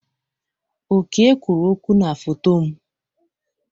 Oke kwuru okwụ na foto m.